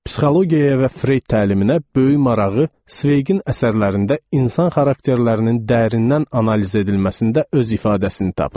Psixologiyaya və Freyd təliminə böyük marağı Sveqin əsərlərində insan xarakterlərinin dərindən analiz edilməsində öz ifadəsini tapır.